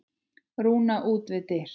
Rúna út við dyr.